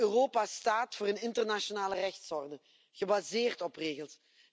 Wel, Europa staat voor een internationale rechtsorde, gebaseerd op regels.